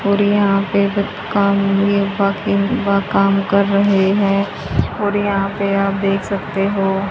और यहां पे काम कर रहे हैं और यहां पे आप देख सकते हो।